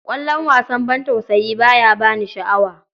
Kallon wasan bantausayi ba ya ba ni sha'awa.